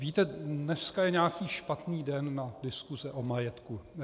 Víte, dneska je nějaký špatný den na diskuse o majetku.